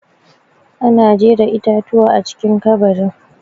Ana jera itatuwa a cikin ƙabarin.